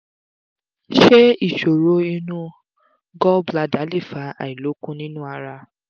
ṣé ìṣòro inú gall bladder lè fa àìlokun nínú ara?